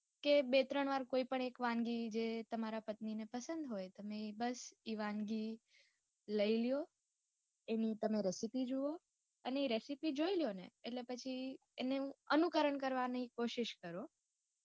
કે બે ત્રણ વાર કોય પણ એક વાનગી જે તમારા પત્ની ને પસંદ હોય અને બસ ઇ વાનગી લય લો એની તમે recipe જોવો અને ઇ recipe જોય લ્યો ને અટલે પછી અનુકરણ કરવાની કોશિશ કરો.